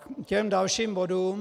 K těm dalším bodům.